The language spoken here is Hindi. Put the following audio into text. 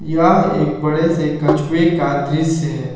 यह एक बड़े से कछुए का दृश्य है।